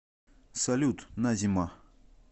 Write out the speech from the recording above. салют назима